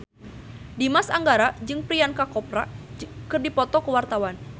Dimas Anggara jeung Priyanka Chopra keur dipoto ku wartawan